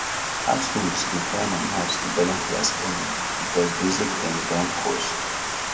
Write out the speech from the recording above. households dey find am hard to balance their spending because basic things don cost